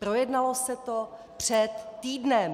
Projednalo se to před týdnem.